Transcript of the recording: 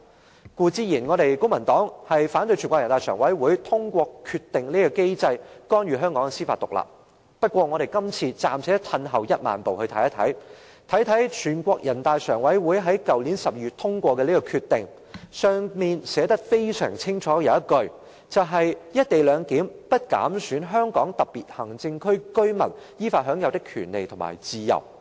公民黨固然反對全國人民代表大會常務委員會透過其決定的機制，干預香港的司法獨立，不過，我們這次暫且退一萬步，看看人大常委會於去年12月通過的決定，當中清楚訂明"一地兩檢"安排"不減損香港特別行政區居民依法享有的權利和自由"。